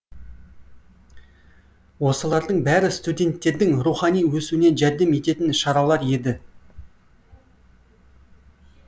осылардың бәрі студенттердің рухани өсуіне жәрдем ететін шаралар еді